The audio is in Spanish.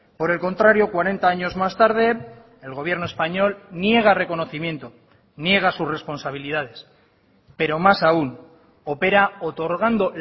por el contrario cuarenta años más tarde el gobierno español niega reconocimiento niega sus responsabilidades pero más aún opera otorgando